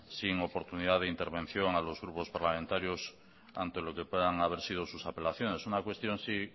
sin oportunidad de intervención a los grupos parlamentarios ante lo que puedan haber sido sus apelaciones una cuestión sí